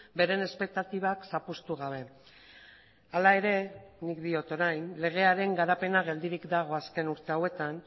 beren espektatibak zapuztu gabe hala ere nik diot orain legearen garapena geldirik dago azken urte hauetan